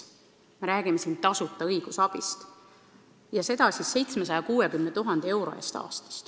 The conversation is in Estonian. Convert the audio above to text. Me räägime siin tasuta õigusabist, milleks on ette nähtud 760 000 eurot aastas.